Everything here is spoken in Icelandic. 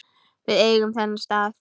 Við eigum þennan stað